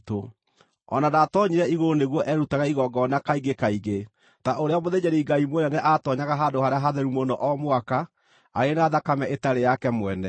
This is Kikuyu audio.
O na ndaatoonyire igũrũ nĩguo erutage igongona kaingĩ kaingĩ ta ũrĩa mũthĩnjĩri-Ngai mũnene aatoonyaga Handũ-harĩa-Hatheru-Mũno o mwaka arĩ na thakame ĩtarĩ yake mwene.